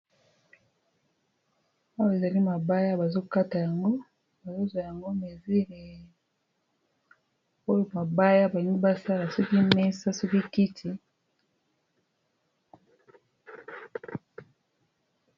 Oyo ezali mabaya bazokata yango bazozwa yango mesure oyo mabaya balingi basala soki mesa soki kiti.